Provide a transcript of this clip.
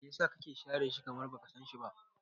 Me yasa kake share shi, kamar baka sanshi ba?